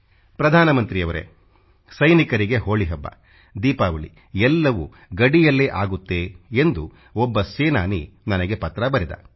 ಪ್ರಧಾನ ಮಂತ್ರಿಯವರೇ ಸೈನಿಕರಿಗೆ ಹೋಳಿ ಹಬ್ಬ ದೀಪಾವಳಿ ಎಲ್ಲವೂ ಗಡಿಯಲ್ಲೇ ಆಗತ್ತೆ ಎಂದು ಒಬ್ಬ ಸೇನಾನಿ ನನಗೆ ಪತ್ರ ಬರೆದ